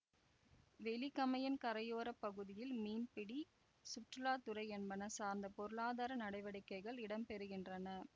வெலிகமையின் கரையோர பகுதிகளில் மீன்பிடி சுற்றுலா துறை என்பன சார்ந்த பொருளாதார நடவடிக்கைகள் இடம் பெறுகின்றன